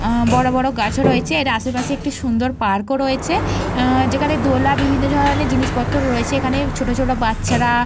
বড় বড় গাছও রয়েছে। এর আশেপাশে একটি সুন্দর পার্ক -ও রয়েছে। এহ যেখানে দোলা বিভিন্ন ধরণের জিনিস রয়েছে। যেখানে ছোট ছোট বাচ্চারা --